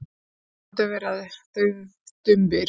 Þetta eru heyrnardaufir eða daufdumbir.